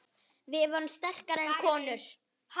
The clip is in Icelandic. Við vorum sterkar konur.